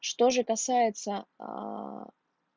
что же касается аа